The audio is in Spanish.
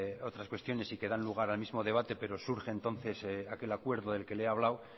otras cuestiones y que dan lugar al mismo debate pero surge entonces aquel acuerdo del que le he hablado